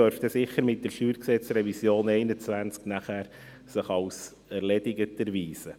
Es dürfte sich sicher mit der StG-Revision 2021 als erledigt erweisen.